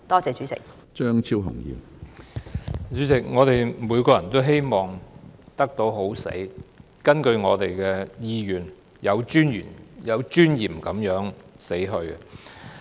主席，我們每個人都希望能夠"好死"，按照我們的意願有尊嚴地死去。